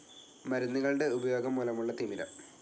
മരുന്നുകളുടെ ഉപയോഗം മൂലമുള്ള തിമിരം.